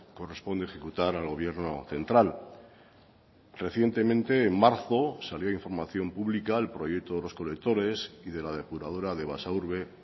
corresponde ejecutar al gobierno central recientemente en marzo salió información pública el proyecto de los colectores y de la depuradora de basaurbe